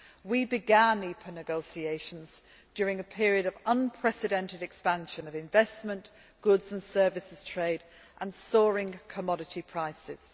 We began EPA negotiations during a period of unprecedented expansion of investment, goods and services trade and soaring commodity prices.